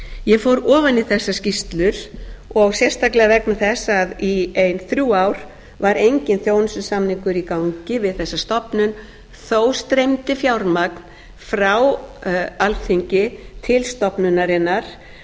ég fór ofan í þessar skýrslur og sérstaklega vegna þess að í ein þrjú ár var enginn þjónustusamningur í gangi við þessa stofnun þó streymdi fjármagn frá alþingi til stofnunarinnar án þess